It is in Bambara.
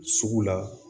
Sugu la